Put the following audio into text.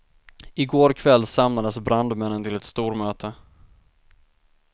I går kväll samlades brandmännen till ett stormöte.